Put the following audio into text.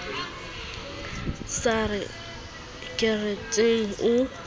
a sa ye kerekeng o